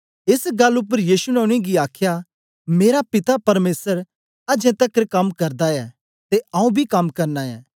एस गल्ल उपर यीशु ने उनेंगी आखया मेरा पिता परमेसर अजें तकर कम्म करदा ऐ ते आऊँ बी कम्म करना ऐ